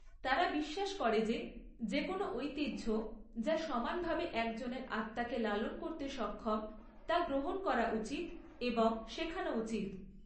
তারা বিশ্বাস করে যে যেকোনো ঐতিহ্য যা সমানভাবে একজনের আত্মাকে লালন করতে সক্ষম তা গ্রহণ করা উচিত এবং শেখানো উচিত।